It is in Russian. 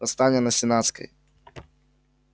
восстание на сенатской